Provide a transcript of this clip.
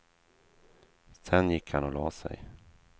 Sedan gick han och lade sig.